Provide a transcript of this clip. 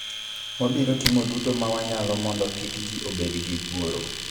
Wabiro timo duto ma wanyalo mondo kik ji obed gi luoro.